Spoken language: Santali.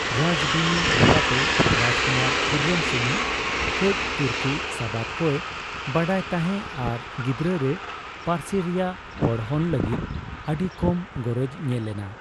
ᱨᱟᱡᱵᱤᱱᱤ ᱞᱮᱠᱟᱛᱮ, ᱨᱟᱡᱠᱩᱢᱟᱨ ᱠᱷᱩᱨᱨᱢ ᱥᱩᱢᱩᱝ ᱠᱟᱹᱡ ᱛᱩᱨᱠᱤ ᱥᱟᱵᱟᱫ ᱠᱚᱭ ᱵᱟᱰᱟᱭ ᱛᱟᱦᱮᱸ ᱟᱨ ᱜᱤᱫᱽᱨᱟᱹ ᱨᱮ ᱯᱟᱹᱨᱥᱤ ᱨᱮᱭᱟᱜ ᱯᱚᱲᱦᱚᱱ ᱞᱟᱹᱜᱤᱫ ᱟᱹᱰᱤ ᱠᱚᱢ ᱜᱚᱨᱚᱡ ᱧᱮᱞᱮᱱᱟ᱾